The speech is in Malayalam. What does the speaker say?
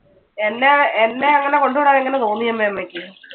എന്ന~എന്നെ അങ്ങനെ കൊണ്ടുവിടാൻ എങ്ങനെ തോന്നി അമ്മെ അമ്മയ്ക്ക്?